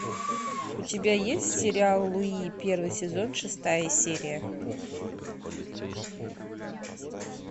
у тебя есть сериал луи первый сезон шестая серия